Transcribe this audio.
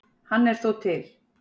Hann er þó til.